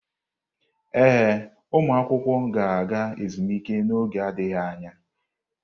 Ee, ụmụ akwụkwọ ga-aga ezumike n'oge adịghị anya.